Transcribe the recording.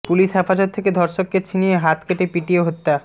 police হেফাজত থেকে ধর্ষককে ছিনিয়ে হাত কেটে পিটিয়ে হত্যা